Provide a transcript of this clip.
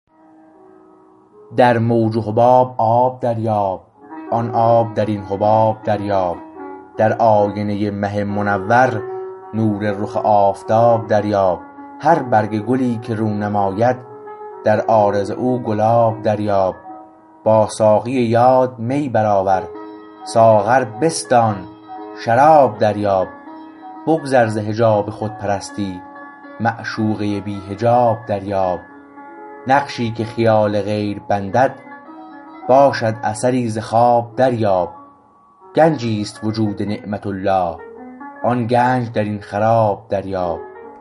در موج و حباب آب دریاب آن آب در این حباب دریاب در آینه مه منور نور رخ آفتاب دریاب هر برگ گلی که رو نماید در عارض او گلاب دریاب با ساقی یاد می برآور ساغر بستان شراب دریاب بگذر ز حجاب خودپرستی معشوقه بی حجاب دریاب نقشی که خیال غیر بندد باشد اثری ز خواب دریاب گنجیست وجود نعمت الله آن گنج درین خراب دریاب